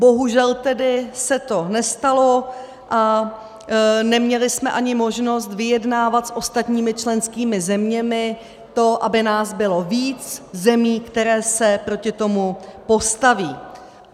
Bohužel tedy se to nestalo a neměli jsme ani možnost vyjednávat s ostatními členskými zeměmi to, aby nás bylo víc zemí, které se proti tomu postaví.